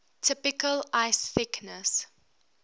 typical ice thickness